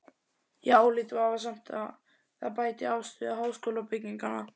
Ég álít vafasamt að það bæti afstöðu háskólabygginganna.